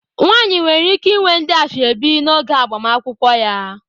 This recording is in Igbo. Nwaanyị nwere ike inwe ndị asoebi n'oge agbamakwụkwọ ya.